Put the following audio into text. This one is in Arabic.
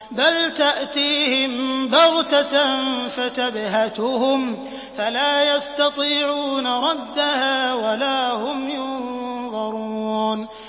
بَلْ تَأْتِيهِم بَغْتَةً فَتَبْهَتُهُمْ فَلَا يَسْتَطِيعُونَ رَدَّهَا وَلَا هُمْ يُنظَرُونَ